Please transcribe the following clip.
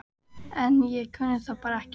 En ég kunni það bara ekki.